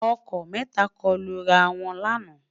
ọkọ mẹta lọkọ Lu rà wọn lànà